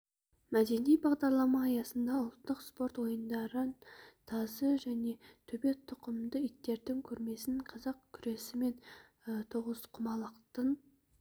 мәдени бағдарлама аясында ұлттық спорт ойындарын тазы және төбет тұқымды иттердің көрмесін қазақ күресі мен тоғызқұмалақтан